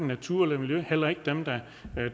natur eller miljø heller ikke dem der